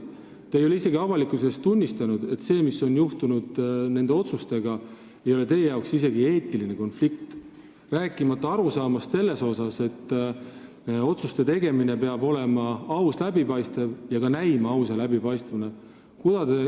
Te ei ole avalikkuse ees tunnistanud, et see, mis on nende otsustega seoses juhtunud, oleks teie arvates vähemalt eetiline konflikt, rääkimata arusaamast, et otsuste tegemine peab olema aus ja läbipaistev ning ka näima ausa ja läbipaistavana.